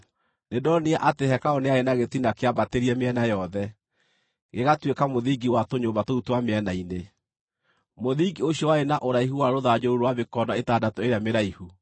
Nĩndonire atĩ hekarũ nĩ yarĩ na gĩtina kĩambatĩrie mĩena yothe, gĩgatuĩka mũthingi wa tũnyũmba tũu twa mĩena-inĩ. Mũthingi ũcio warĩ na ũraihu wa rũthanju rũu rwa mĩkono ĩtandatũ ĩrĩa mĩraihu.